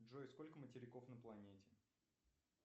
джой сколько материков на планете